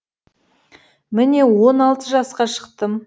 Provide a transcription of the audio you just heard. міне он алты жасқа шықтым